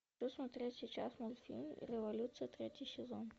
посмотреть сейчас мультфильм революция третий сезон